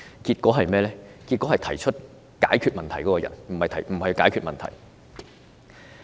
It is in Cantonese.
然而，政府只是解決提出問題的人，而非解決問題。